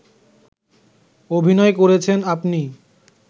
অভিনয় করেছেন আপনি